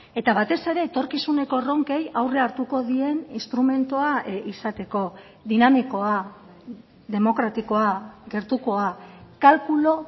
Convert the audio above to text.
eta batez ere etorkizuneko erronkei aurre hartuko dien instrumentua izateko dinamikoa demokratikoa gertukoa kalkulu